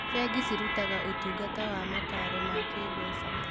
Bengi cirutaga ũtungata wa mataaro ma kĩmbeca.